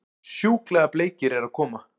Sjúklega bleikir eru að koma!